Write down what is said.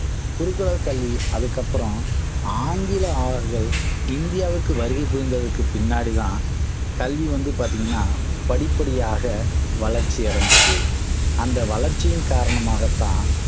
குருகுல கல்வி அதுக்கப்புறம் ஆங்கில ஆள்கள் இந்தியாவிற்கு வருகை புரிந்ததற்கு பின்னாடி தான் கல்வி வந்து பாத்தீங்கன்னா படிப்படியாக வளர்ச்சி அடைந்தது அந்த வளர்ச்சியின் காரணமாகத்தான்